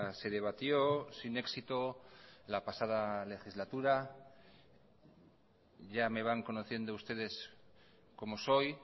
se debatió sin éxito la pasada legislatura ya me van conociendo ustedes cómo soy